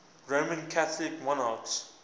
roman catholic monarchs